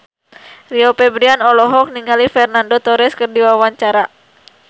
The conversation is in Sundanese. Rio Febrian olohok ningali Fernando Torres keur diwawancara